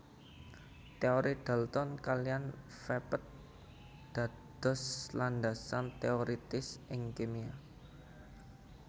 Teori dalton kaliyan vepet dados landasan teoiritis ing kimia